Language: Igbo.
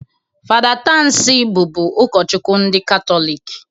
Fada Tansi bụbu ukochukwu ndị Katọlik